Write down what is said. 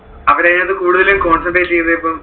അവരു അതിനകത്തു കുടുതലും concentrate ചെയ്തത് ഇപ്പം